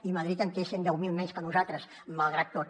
i madrid en té cent i deu mil menys que nosaltres malgrat tot